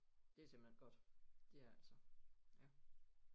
Det simpelthen godt det er det altså ja